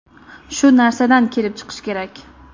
Shu narsadan kelib chiqish kerak.